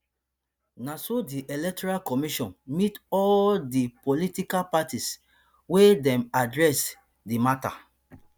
na so di electoral commission meet all di political parties wia dey address di mata